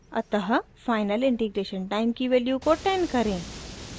अतः final integration time की value को 10 करें